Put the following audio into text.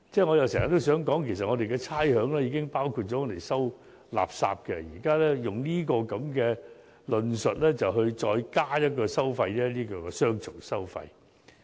我經常也想說，其實我們的差餉已包括了收集垃圾的費用，現在卻以這種論述再增加一項收費，變成雙重收費。